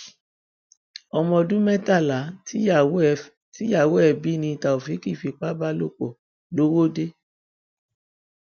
ọmọọdún mẹtàlá tíyàwó ẹ bí ni taofeek ń fipá bá lò pọ lọwọde